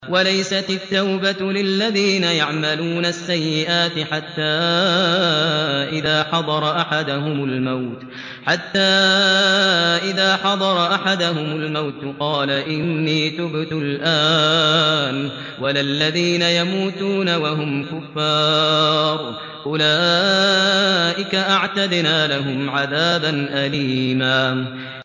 وَلَيْسَتِ التَّوْبَةُ لِلَّذِينَ يَعْمَلُونَ السَّيِّئَاتِ حَتَّىٰ إِذَا حَضَرَ أَحَدَهُمُ الْمَوْتُ قَالَ إِنِّي تُبْتُ الْآنَ وَلَا الَّذِينَ يَمُوتُونَ وَهُمْ كُفَّارٌ ۚ أُولَٰئِكَ أَعْتَدْنَا لَهُمْ عَذَابًا أَلِيمًا